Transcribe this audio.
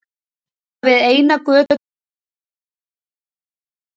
Nema við eina götu stóð eitt hús með öllu óskemmt.